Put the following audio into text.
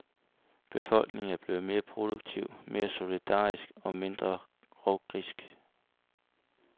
Befolkningen er blevet mere produktiv, mere solidarisk og mindre rovgrisk.